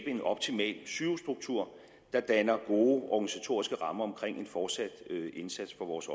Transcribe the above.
en optimal sygehusstruktur der danner gode organisatoriske rammer omkring en fortsat indsats for vores